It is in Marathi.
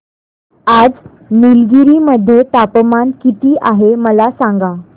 आज निलगिरी मध्ये तापमान किती आहे मला सांगा